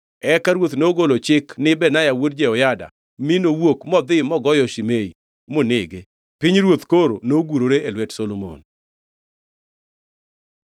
Eka ruoth nogolo chik ni Benaya wuod Jehoyada, mi nowuok modhi mogoyo Shimei monege. Pinyruoth koro nogurore e lwet Solomon.